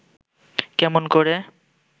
কেমন করে